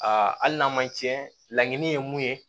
Aa hali n'a ma tiɲɛ laɲini ye mun ye